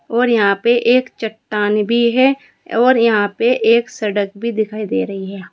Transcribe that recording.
और यहां पे एक चट्टान भी है और यहां पे एक सड़क भी दिखाई दे रही है।